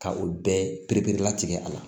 Ka olu bɛɛ pereperelatigɛ a la